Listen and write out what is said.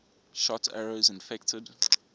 shot arrows infected